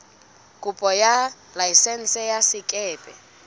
kopo ya laesense ya sekepe